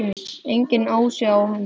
Enginn asi á henni.